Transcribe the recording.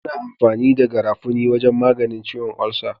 Ana amfani da garafuni wajan maganin ciwon ulsa